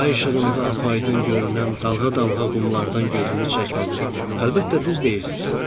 Ay işığında apaydın görünən dalğa-dalğa qumlardan gözümü çəkmədən, əlbəttə, düz deyirsiz.